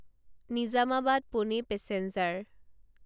Nizamabad Pune passenger